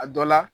A dɔ la